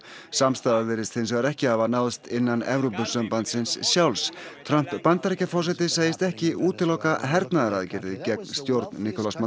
samstaða virðist hins vegar ekki hafa náðst innan Evrópusambandsins sjálfs Trump Bandaríkjaforseti segist ekki útiloka hernaðaraðgerðir gegn stjórn